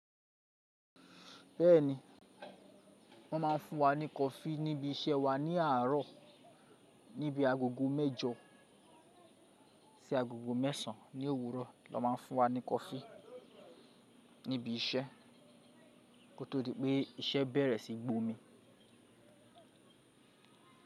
Bẹ́ẹ̀ni, wọ́n ma ń fu wa ní coffee níbi iṣẹ́ wa ní àárọ̀. Níbi agogo mẹ́jọ sí agogo mẹ́sàn án ní òwúrọ̀ ló ma ń fún wa ní coffee níbi iṣẹ́ kó tó di pé iṣẹ́ bẹ̀rẹ̀ sí gbomi.